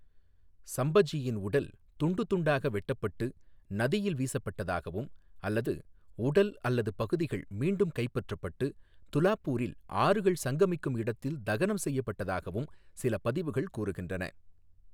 சம்பஜியின் உடல் துண்டுதுண்டாக வெட்டப்பட்டு நதியில் வீசப்பட்டதாகவும் அல்லது உடல் அல்லது பகுதிகள் மீண்டும் கைப்பற்றப்பட்டு துலாப்பூரில் ஆறுகள் சங்கமிக்கும் இடத்தில் தகனம் செய்யப்பட்டதாகவும் சில பதிவுகள் கூறுகின்றன.